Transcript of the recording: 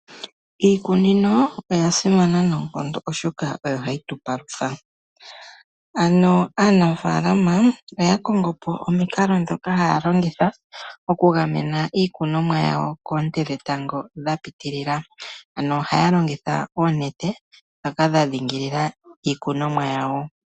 Iikunino oyasimana noonkondo oshoka oyo hayi tupalutha ano aanafaalama oya kongo po omiikalo dhoka haya longitha okugamena iikunomwa yawo koonte dhetango dhapitilila , ano ohaya longitha oonete dhoka dha dhingilila iikunomwa yawo.